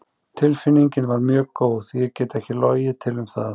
Tilfinningin var mjög góð, ég get ekki logið til um það.